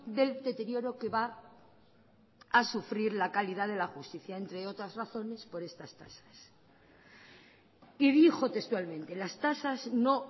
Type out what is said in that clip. del deterioro que va a sufrir la calidad de la justicia entre otras razones por estas tasas y dijo textualmente las tasas no